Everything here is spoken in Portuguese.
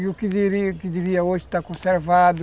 E o que devia devia hoje está conservado.